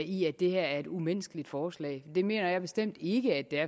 i at det her er et umenneskeligt forslag det mener jeg bestemt ikke at det er